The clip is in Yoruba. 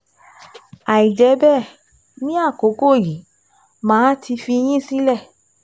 Àìjẹ́ bẹ́ẹ̀, ní àkókò yìí, màá ti fi yín sílẹ̀